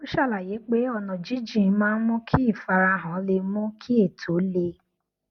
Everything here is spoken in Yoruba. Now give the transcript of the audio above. ó ṣàlàyé pé ọnà jínjìn maá n mú kí ìfarahàn le mú kí ètò le